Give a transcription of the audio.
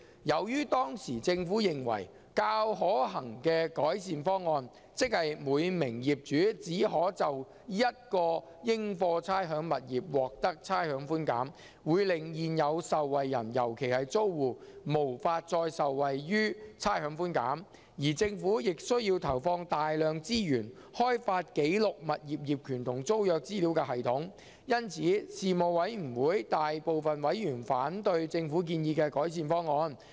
由於當時政府認為較可行的改善方案，即每名業主只可就一個應課差餉物業獲得差餉寬減，會令現有受惠人，尤其是租戶，無法再受惠於差餉寬減，而政府亦需要投放大量資源開發記錄物業業權和租約資料的系統，因此事務委員會大部分委員反對政府建議的改善方案。